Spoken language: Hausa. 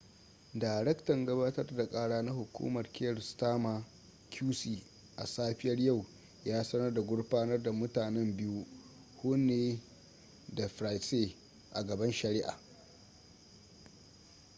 darektan gabatar da kara na hukumar kier starmer qc a safiyar yau ya sanar da gurfanar da mutanen biyu huhne da pryce a gaban shari'a